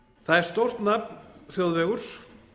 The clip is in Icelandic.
það er stórt nafn þjóðvegur